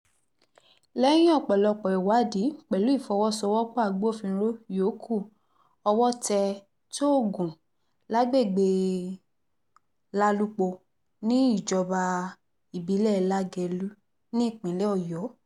lẹ́yìn ọ̀pọ̀lọpọ̀ ìwádìí pẹ̀lú ìfọwọ́sowọ́pọ̀ agbófinró yòókù owó tẹ tóògùn lágbègbè lálùpọ̀ níjọba ìbílẹ̀ lagelu nípínlẹ̀ ọ̀yọ́